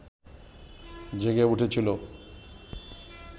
জেগে উঠেছিল